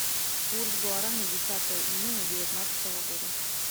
курс гуарани десятое июня девятнадцатого года